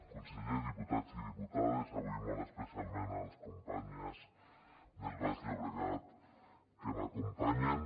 conseller diputats i diputades avui molt especialment a les companyes del baix llobregat que m’acompanyen